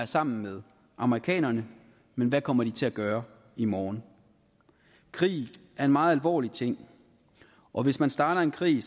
sammen med amerikanerne men hvad kommer de til at gøre i morgen krig er en meget alvorlig ting og hvis man starter en krig